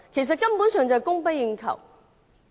這根本是供不應求的。